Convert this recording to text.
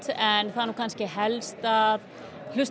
en það er helst að hlusta